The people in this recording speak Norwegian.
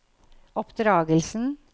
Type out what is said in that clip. oppdragelsen